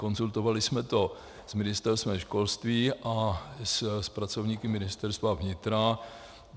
Konzultovali jsme to s Ministerstvem školství a s pracovníky Ministerstva vnitra.